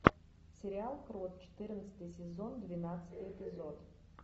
сериал крот четырнадцатый сезон двенадцатый эпизод